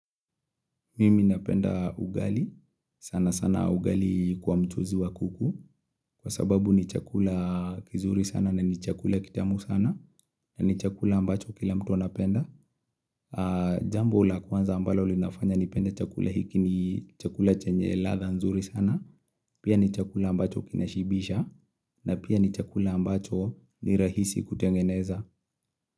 Mimi napenda ugali, sana sana ugali kwa mchuzi wa kuku. Kwa sababu ni chakula kizuri sana na ni chakula kitamu sana na ni chakula ambacho kila mtu anapenda. Jambo la kwanza ambalo linafanya nipenda chakula hiki ni, chakula chenye ladha nzuri sana, pia ni chakula ambacho kinashibisha na pia ni chakula ambacho ni rahisi kutengeneza.